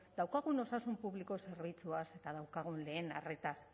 daukagun osasun publiko zerbitzuaz eta daukagun lehen arretaz